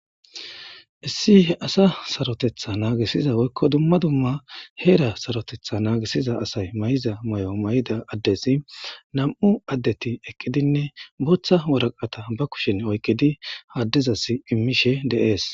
Issi he asa sarotetha naagisiza woykko dumma dumma heera sarotetha naagisiza asay may7iza may7o may7ida addesi nam7u addeti eqidinne booththa woraqata ba kushen oykkidi haaddizasi immishe deees.